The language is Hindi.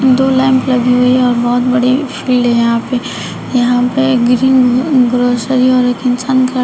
दो लैम्प लगी हुई है और बहुत बड़े फिल्ड है यहां पे यहां पर ग्रीन ग्रॉसरी है और एक इंसान खड़ा--